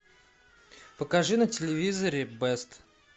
покажи на телевизоре бест